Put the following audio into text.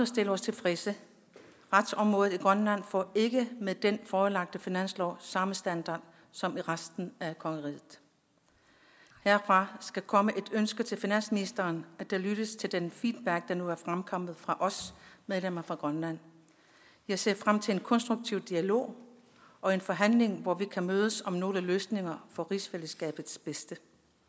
stille os tilfredse retsområdet i grønland får ikke med den forelagte finanslov samme standard som i resten af kongeriget herfra skal komme et ønske til finansministeren at der lyttes til den feedback der nu er fremkommet fra medlemmerne fra grønland jeg ser frem til en konstruktiv dialog og en forhandling hvor vi kan mødes om nogle løsninger for rigsfællesskabets bedste